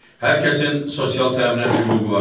Hər kəsin sosial təminat hüququ vardır.